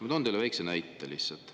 Ma toon teile väikse näite lihtsalt.